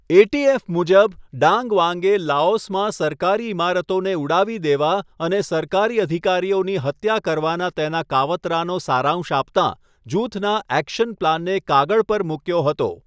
ATF. મુજબ, Dang Vang લાઓસમાં સરકારી ઈમારતોને ઉડાવી દેવા અને સરકારી અધિકારીઓની હત્યા કરવાના તેના કાવતરાનો સારાંશ આપતાં જૂથના 'એક્શન પ્લાન' ને કાગળ પર મૂક્યો હતો.